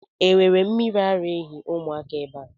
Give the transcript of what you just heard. E nwere mmiri ara ehi ụmụaka ebe ahụ?